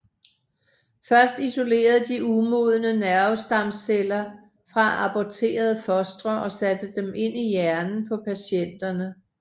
Først isolerede de umodne nervestamceller fra aborterede fostre og satte dem ind i hjernen på patienterne